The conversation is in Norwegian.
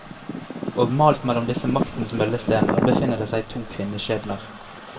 Og malt mellom disse maktens møllestener befinner det seg to kvinneskjebner.